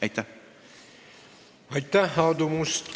Aitäh, Aadu Must!